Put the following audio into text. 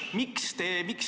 Küsimus!